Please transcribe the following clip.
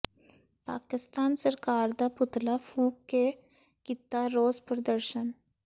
ਪਾਕਿਸਤਾਨ ਸਰਕਾਰ ਦਾ ਪੁਤਲਾ ਫੂਕ ਕੇ ਕੀਤਾ ਰੋਸ ਪ੍ਰਦਰਸ਼ਨ